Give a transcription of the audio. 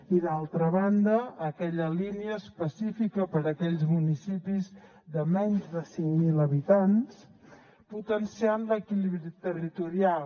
i d’altra banda aquella línia específica per a aquells municipis de menys de cinc mil habitants per potenciar l’equilibri territorial